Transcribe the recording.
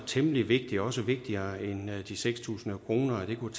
temmelig vigtigt og også vigtigere end de seks tusind kroner det kunne